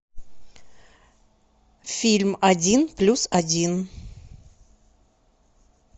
фильм один плюс один